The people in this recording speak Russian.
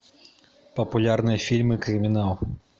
популярные фильмы криминал